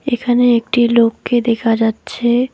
এখানে একটি লোককে দেখা যাচ্ছে।